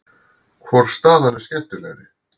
Hvor staðan er skemmtilegri?